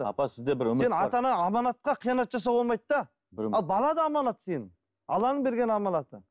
апа сізде бір сен ата ана аманатқа қиянат жасауға болмайды да ал бала да аманат сенің алланың берген аманаты